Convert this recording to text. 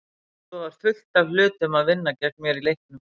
Svo var fullt af hlutum að vinna gegn mér í leiknum.